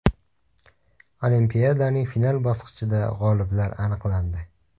Olimpiadaning final bosqichida g‘oliblar aniqlandi.